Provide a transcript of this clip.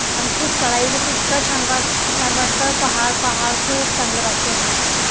आणि खूप चढायचं तर इतकं छान वाटत पहाड पहाड खूप चांगलं वाटत.